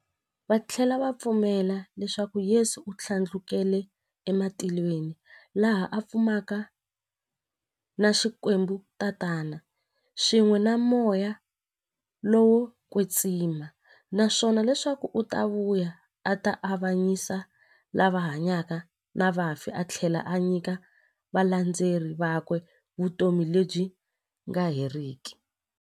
Vathlela va pfumela leswaku Yesu u thlandlukele ematilweni, laha a fumaka na Xikwembu-Tatana, swin'we na Moya lowo kwetsima, naswona leswaku u ta vuya a ta avanyisa lava hanyaka na vafi athlela a nyika valandzeri vakwe vutomi lebyi nga heriki.